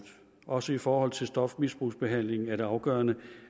også i forhold til stofmisbrugsbehandlingen er det afgørende